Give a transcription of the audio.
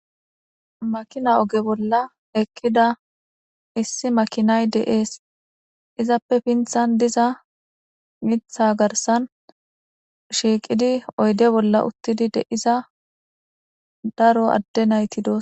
Makina oge bolla ekkida issi makinay deees izappe pinthan diza mitha garsan shiiqidi oyde bolla uttidi de'iza daro adde nayti dos.